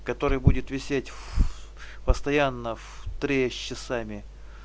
который будет висеть в постоянно в триста